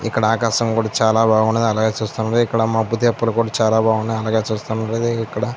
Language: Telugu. ఇక్కడ ఆకాశం కూడా చాలా బాగున్నది అలాగే చూస్తుంటే ఇక్కడ మొబ్బుదిప్పలు కూడా చాలా బాగున్నాయ్ అలాగే చూస్తున్నటు అయితే ఇక్కడ.